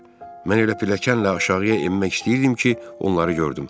Mən elə pilləklə aşağıya enmək istəyirdim ki, onları gördüm.